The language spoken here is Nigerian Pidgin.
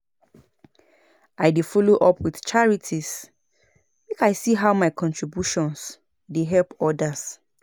I dey do follow up with charities make I see how my contributions dey help others.